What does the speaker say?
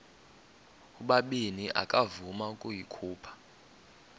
ubabini akavuma ukuyikhupha